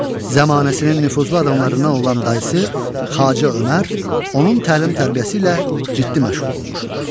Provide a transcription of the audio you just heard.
Zəmanəsinin nüfuzlu adamlarından olan dayısı Xacə Ömər, onun təlim-tərbiyəsi ilə ciddi məşğul olmuşdur.